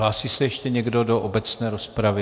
Hlásí se ještě někdo do obecné rozpravy?